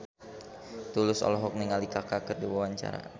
Tulus olohok ningali Kaka keur diwawancara